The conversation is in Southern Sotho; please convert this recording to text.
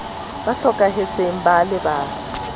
ba hlokahetseng ba a lebalwa